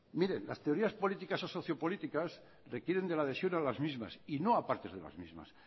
miren las teorías políticas o sociopolíticas requieren de la adhesión de las mismas y no a partes de las mismas